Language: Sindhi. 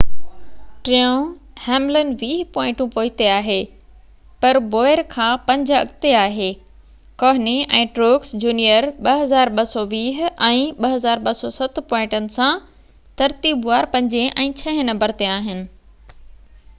ٽيون هيملن ويهه پوائنٽو پوئتي آهي پر بوير کان پنج اڳتي آهي ڪهني ۽ ٽروڪس جونيئر 2,220 ۽ 2,207 پوائنٽن سان ترتيبوار پنجين ۽ ڇهين نمبر تي آهن